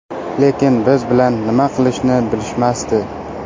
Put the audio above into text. Lekin biz bilan nima qilishni bilishmasdi.